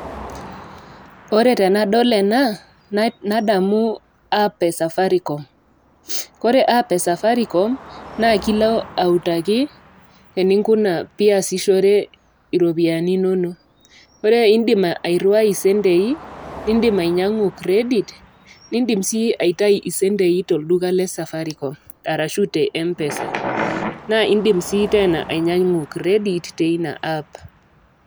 Ore tenadol ena, nadamu app e Safaricom. Kore app e Safaricom, na ekilo autaki ninkuna piasishore iropiyiani inono. Ore idim airriwai isentei, idim ainyang'u credit, nidim si aitai isentei tolduka le Safaricom, arashu te M-PESA. Na idim si tena ainyang'u credit, teina app.